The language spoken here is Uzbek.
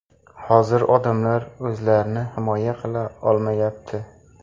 Hozir odamlar o‘zlarini himoya qila olmayapti”.